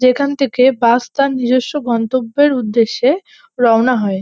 যেখান থেকে বাস তার নিজস্ব গন্তব্যের উদ্দেশ্যে রওনা হয়।